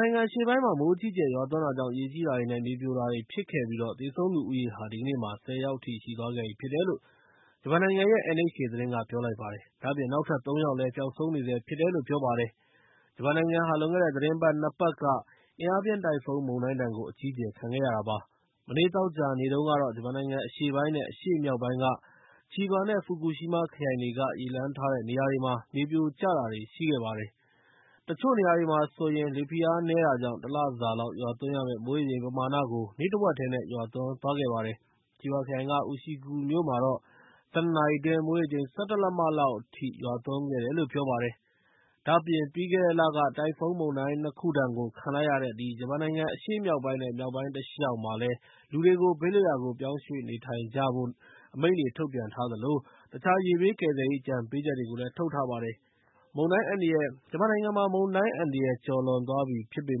နိုင်ငံ အရှေ့ပိုင်းမှာ မိုးအကြီးအကျယ် ရွာသွန်းတာကြောင့် ရေကြီးတာတွေနဲ့ မြေပြိုကျတာတွေ ဖြစ်ခဲ့ပြီး သေဆုံးသူဦးရေဟာ ဒီကနေ့မှာ ၁၀ ယောက်အထိ ရှိသွားခဲ့ပြီဖြစ်တယ်လို့ ဂျပန်နိုင်ငံရဲ့ NHK သတင်းက ပြောလိုက်ပါတယ်။ ဒါ့အပြင် နောက်ထပ် ၃ ယောက်လည်း ပျောက်ဆုံးနေဆဲဖြစ်တယ်လို့ ပြောပါတယ်။ ဂျပန်နိုင်ငံဟာ လွန်ခဲ့တဲ့ သီတင်းပတ် ၂ ပတ်ကလည်း အင်အားပြင်း တိုင်ဖုန်းမုန်တိုင်းဒဏ်ကို အကြီးအကျယ် ခံခဲ့ရတာဖြစ်ပါတယ်။ မနေ့ သောကြာနေ့တုန်းကတာ့ ဂျပန်နိုင်ငံ အရှေ့ပိုင်းနဲ့ အရှေ့မြောက်ပိုင်းက ချီဘာနဲ့ ဖူကူရှီမာ ခရိုင်တွေက ရေလွှမ်းထားတဲ့ နေရာတွေမှာ မြေပြိုကျတာတွေ ဖြစ်ခဲ့ပါတယ်။ တချို့နေရာတွေမှာဆိုရင် လေဖိအားနည်းတာကြောင့် တလစာလောက် ရွာသွန်းရမယ့် မိုးရေချိန်ပမာဏကို နေ့တဝက်တည်းနဲ့ ရွာသွန်းသွားခဲ့ပါတယ်။ ချီဘာခရိုင်က UShiku မြို့မှာတော့ ၁၂ နာရီအတွင်း မိုးရေချိန် ၁၁ လက်မလောက် မိုးရွာသွန်းခဲ့တယ်လို့ ပြောပါတယ်။ ဒါ့အပြင် ပြီးခဲ့တဲ့လက တိုင်ဖုန်းမုန်တိုင်း ၂ ခုဒဏ် ခံလိုက်ရတဲ့ ဂျပန်နိုင်ငံရဲ့ အရှေ့မြောက်ပိုင်းနဲ့ မြောက်ပိုင်းတလျှောက် ဘေးလွတ်ရာကို ပြောင်းရွှေ့နေကြဖို့ အမိန့်တွေ ထုတ်ပြန်ထားသလို တခြား ရေဘေးဒဏ်ကယ်ဆယ်ရေး အကြံပေးချက်တွေကိုလည်း ထုတ်ထားပါတယ်။ ဂျပန်နိုင်ငံမှာ ဒီကနေ့ မုန်တိုင်းဒဏ်ကနေ ကျော်လွန်သွားပြီ ဖြစ်ပေ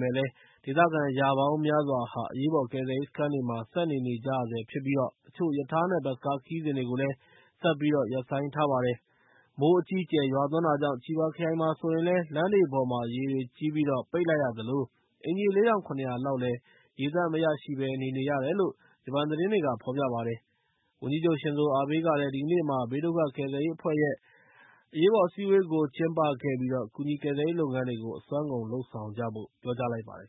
မယ့်လည်း ဒေသခံ ရာပေါင်းများစွာဟာ အရေးပေါ်ကယ်ဆယ်ရေး စခန်းတွေမှာ ဆက်နေနေကြရဆဲဖြစ်ပြီး တချို့ ရထားနဲ့ ဘတ်စ်ကား ခရီးစဉ်တွေကိုလည်း ဆက်ပြီး ရပ်ဆိုင်းထားရပါတယ်။ မိုးအကြီးအကျယ် ရွာသွန်းတာကြောင့် ချီဘာခရိုင်မှာဆိုရင်လည်း လမ်းတွေပေါ်မှာ ရေတွေကြီးပြီး ပိတ်လိုက်ရသလို အိမ်ခြေ ၄၇၀၀ လောက်လည်း ရေသန့်မရရှိဘဲ နေနေရတယ်လို့ ဂျပန်သတင်းတွေက ဖော်ပြလိုက်ပါတယ်။ ဂျပန်ဝန်ကြီးချုပ် ရှင်ဇိုအာဘေးကလည်း ဒီကနေ့မှာ ဘေးဒုက္ခကယ်ဆယ်ရေးအဖွဲ့ အစည်းအဝေးကို ဒီကနေ့ကျင်းပခဲ့ပြီး ကူညီကယ်ဆယ်ရေး လုပ်ငန်းတွေကို အစွမ်းကုန် လုပ်ဆောင်ကြဖို့ တောင်းဆိုလိုက်ပါတယ်